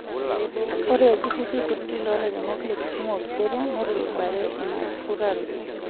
Ore iltururi kutiti lolairemok lekisumu oo kiserian neturubare inautaroto.